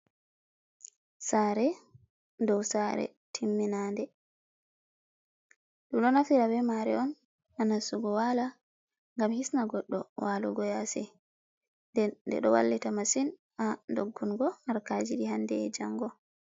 Saare dou saare timminande, dum ɗo naftira be maare on ha nastugo wala gam hisno goɗɗo walugo yasi den ɗo wallita masin ha doggungo haraji ɗi handee e jango.